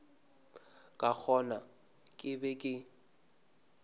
ka gona ke be ke